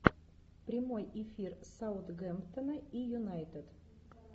прямой эфир саутгемптона и юнайтед